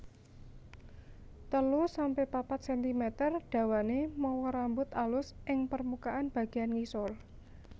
telu sampe papat sentimeter dawané mawa rambut alus ing permukaan bagéyan ngisor